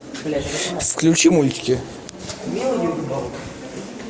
включи мультики